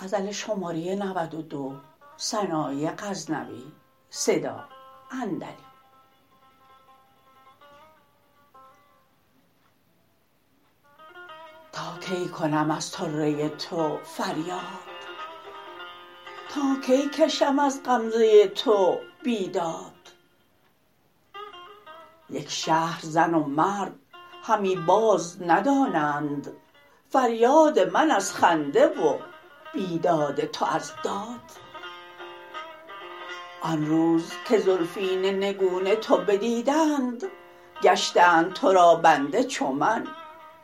تا کی کنم از طره تو فریاد تا کی کشم از غمزه تو بیداد یک شهر زن و مرد همی باز ندانند فریاد من از خنده و بیداد تو از داد آن روز که زلفین نگون تو بدیدند گشتند ترا بنده چو من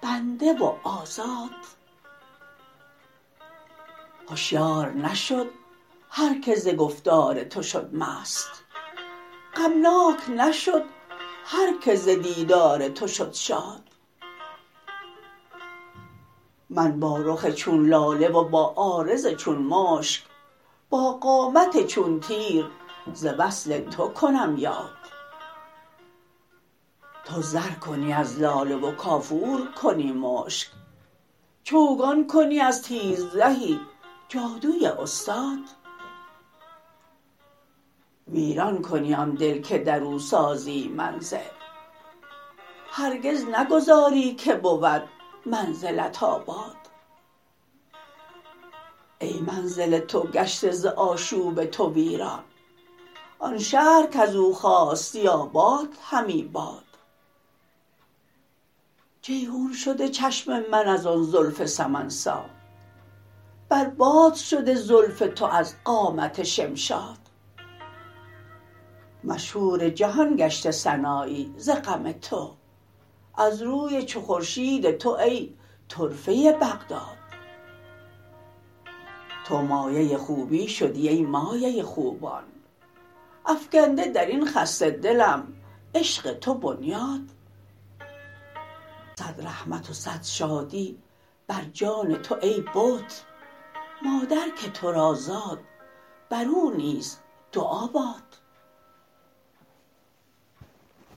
بنده و آزاد هشیار نشد هر که ز گفتار تو شد مست غمناک نشد هر که ز دیدار تو شد شاد من با رخ چون لاله و با عارض چون مشک با قامت چون تیر ز وصل تو کنم یاد تو زر کنی از لاله و کافور کنی مشک چوگان کنی از تیر زهی جادوی استاد ویران کنی آن دل که درو سازی منزل هرگز نگذاری که بود منزلت آباد ای منزل تو گشته ز آشوب تو ویران آن شهر کزو خاستی آباد همی باد جیحون شده چشم من از آن زلف سمن سا بر باد شده زلف تو از قامت شمشاد مشهور جهان گشته سنایی ز غم تو از روی چو خورشید تو ای طرفه بغداد تو مایه خوبی شدی ای مایه خوبان افگنده درین خسته دلم عشق تو بنیاد صد رحمت و صد شادی بر جان تو ای بت مادر که ترا زاد بر او نیز دعا باد